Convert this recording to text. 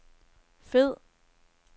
fed